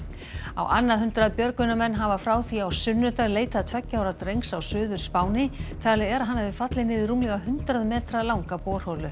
á annað hundrað björgunarmenn hafa frá því á sunnudag leitað tveggja ára drengs á Suður Spáni talið er að hann hafi fallið niður rúmlega hundrað metra langa borholu